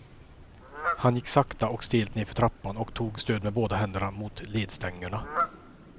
Han gick sakta och stelt nedför trappan och tog stöd med båda händerna mot ledstängerna.